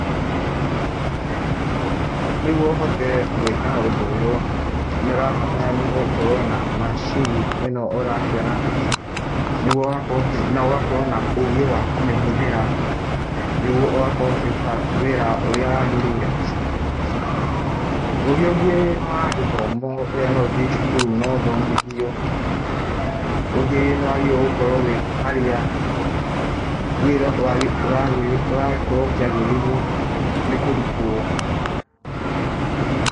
Nĩguo ũhote gwika ũndũ ũyũ, nĩũrabatarania gũkorwo na macini ĩno ũrakĩona, nĩguo ũgakorwo, nogakorwo na ũgĩ wa kũmĩhũthĩra, nĩguo ũgakorwo ũkĩruta wĩra ũrĩa wagĩrĩire. Ũrĩa ũngĩ nĩ wa gĩthomo, urĩa no ũthiĩ cukuru na ũthomithio, ũngĩ nĩ wagĩrĩirwo gũkorwo wĩ harĩa wĩra ũrakorwo ũkĩagĩrĩirwo nĩ kũrutwo.